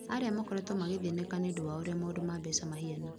arĩa makorĩtũo magĩthĩnĩka nĩũndũ wa ũrĩa maũndũ ma mbeca mahiana.